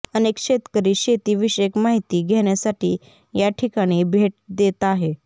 अनेक शेतकरी शेती विषयक माहिती घेण्यासाठी या ठिकाणी भेट देत आहेत